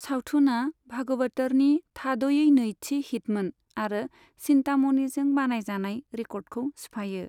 सावथुनआ भागवतरनि थाद'यै नैथि हिटमोन आरो चिन्तामणिजों बानायजानाय रेकर्डखौ सिफायो।